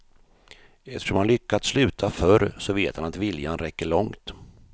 Eftersom han lyckats sluta förr så vet han att viljan räcker långt.